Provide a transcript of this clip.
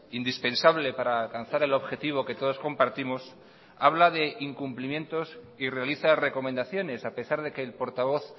indispensable para alcanzar el objetivo que todos compartimos habla de incumplimientos y realiza recomendaciones a pesar de que el portavoz